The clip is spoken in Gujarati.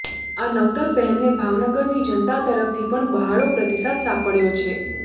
આ નવતર પહેલને ભાવનગરની જનતા તરફ્થી પણ બહોળો પ્રતિસાદ સાંપડયો છે